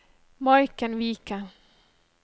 Maiken Viken